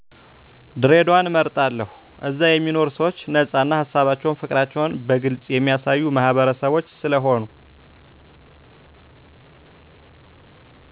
ድሬዳዋን እመርጣለሁ እዛ የሚኖሩ ሰዎቸ ነፃ እና ሀሳባቸውን ፋቅራቸዉን በግልፅ የሚያሳዩ ማህበረሰቦች ስለሆኑ